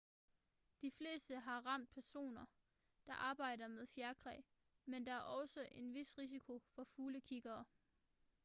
de fleste har ramt personer der arbejder med fjerkræ men der er også en vis risiko for fuglekiggere